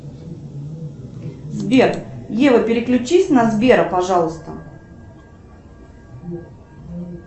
сбер ева переключись на сбера пожалуйста